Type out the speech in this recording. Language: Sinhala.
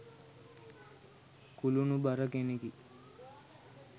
කුළුණු බර කෙනෙකි